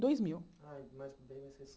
Dois mil Ah, bem mais